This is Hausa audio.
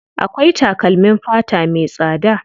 Akwai takalmin fata me tsada.